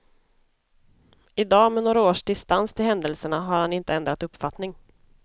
I dag, med några års distans till händelserna, har han inte ändrat uppfattning.